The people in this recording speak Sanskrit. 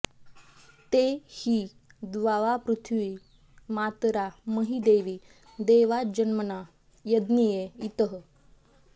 ते हि द्यावापृथिवी मातरा मही देवी देवाञ्जन्मना यज्ञिये इतः